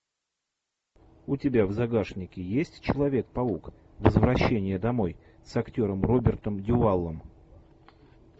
у тебя в загашнике есть человек паук возвращение домой с актером робертом дювалом